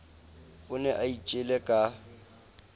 o ne a itjele ka